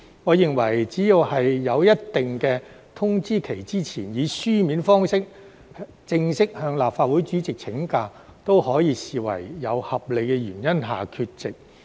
我認為只要在一定的通知期前，以書面方式正式向立法會主席請假，都可以視為有合理原因下缺席。